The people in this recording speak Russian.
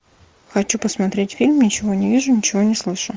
хочу посмотреть фильм ничего не вижу ничего не слышу